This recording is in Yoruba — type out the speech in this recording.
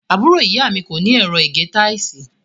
Ọmọ àbúrò ìyá mi kó ní ẹ̀rọ ìgé táìsì.